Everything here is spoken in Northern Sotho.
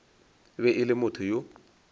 be e le motho yo